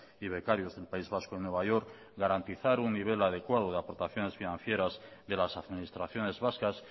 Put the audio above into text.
y becarios del país vasco en nueva york garantizar un nivel adecuado de aportaciones financieras de las administraciones vascas